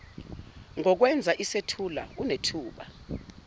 ngokwenza isethulo unethuba